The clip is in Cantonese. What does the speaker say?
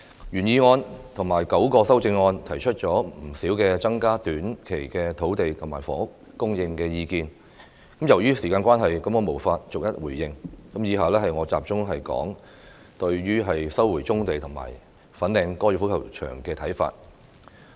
原議案及9項修正案提出了不少增加短期土地和房屋供應的意見，由於時間關係，我無法逐一回應，以下我會集中表述對於收回棕地及粉嶺高爾夫球場的看法。